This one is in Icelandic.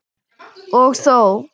Og þó!